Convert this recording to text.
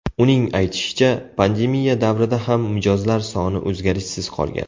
Uning aytishicha, pandemiya davrida ham mijozlar soni o‘zgarishsiz qolgan.